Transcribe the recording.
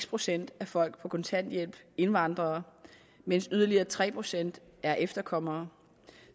procent af folk på kontanthjælp indvandrere mens yderligere tre procent er efterkommere